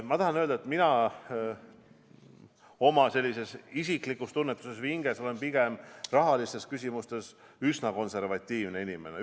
Ma tahan öelda, et mina oma isiklikult tunnetuselt või hinges olen rahalistes küsimustes üsna konservatiivne inimene.